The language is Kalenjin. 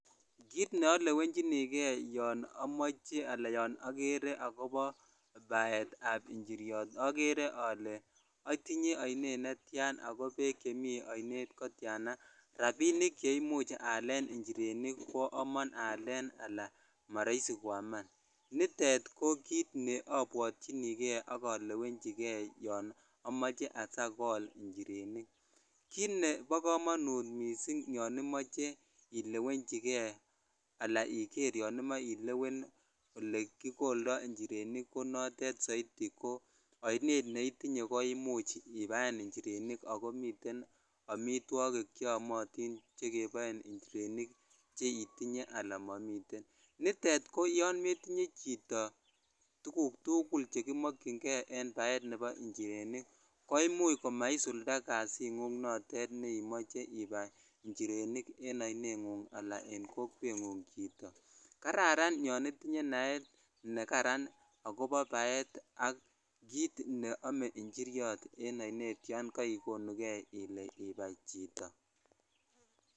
Kiit neolewenjinike yoon omoche alaa yoon okere akobo baetab njiriot okere olee otinye oinet netian ak ko beek chemii oinet kotiana, rabinik cheimuch aleen njirenik koyomon aleen alaa moroisi koyaman, nitet ko kiit neobwotyinike ak olewenchike yoo omoche asiakol njirenik, kiit nebokomonut mising yoon imoche ilewenchike alaa yoon imoe ilewen olekikoldo njirenik ko notet soiti ko oinet ko oinet neitinyeko imuch ibaen njirenik ak ko miten amitwokik cheyomotin chekeboen njirenik cheitinye alaa momiten, nitet ko yoon metinye chito tukuk tukul chekimokying'e en baet nebo njirenik ko imuch koma isulda kasing'ung notet neimoche ibai njirenik en oineng'ung alaa en kokweng'ung chito, kararan yoon itinye naet nekaran ak kobo baet ak kiit neome njiriot en oinet yoon koikonuke ilee ibai chito.